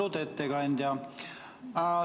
Austatud ettekandja!